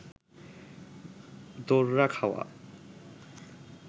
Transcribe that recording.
দোররা খাওয়া